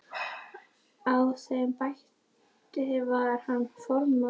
Á þeim báti var hann formaður og gekk vel.